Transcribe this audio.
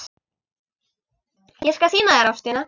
Ég skal sýna þér Ástina.